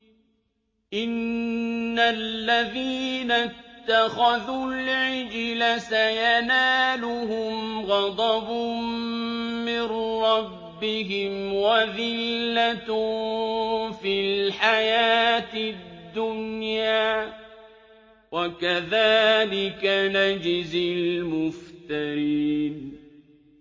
إِنَّ الَّذِينَ اتَّخَذُوا الْعِجْلَ سَيَنَالُهُمْ غَضَبٌ مِّن رَّبِّهِمْ وَذِلَّةٌ فِي الْحَيَاةِ الدُّنْيَا ۚ وَكَذَٰلِكَ نَجْزِي الْمُفْتَرِينَ